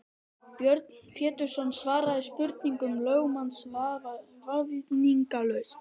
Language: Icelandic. Björn Pétursson svaraði spurningum lögmanns vafningalaust.